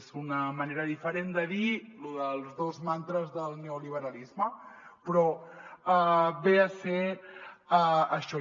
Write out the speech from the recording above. és una manera diferent de dir lo dels dos mantres del neoliberalisme però ve a ser això